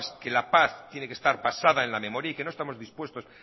que la paz tiene que estar basada en la memoria y que no estamos dispuestos